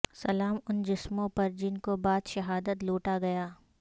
سلام ان جسموں پر جن کو بعد شہادت لوٹا گیا